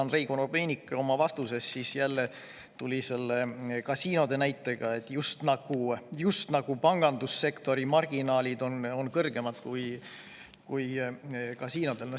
Andrei Korobeinik oma vastuses tuli jälle selle kasiinode näitega, just nagu pangandussektori marginaalid oleks kõrgemad kui kasiinodel.